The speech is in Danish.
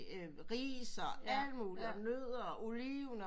Ris og alt muligt og nødder og oliven